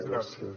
gràcies